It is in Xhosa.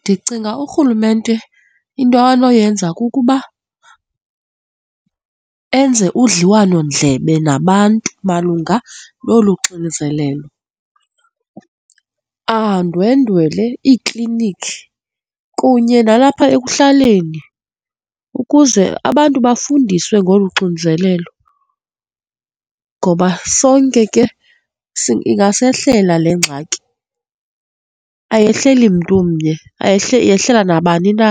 Ndicinga urhulumente into anoyenza kukuba enze udliwanondlebe nabantu malunga nolu xinzelelo, andwendwele iikliniki kunye nalapha ekuhlaleni ukuze abantu bafundiswe ngolu xinzelelo. Ngoba sonke ke ingasehlela le ngxaki, ayehleli mntu umnye, ayihleli, yehlela nabani na.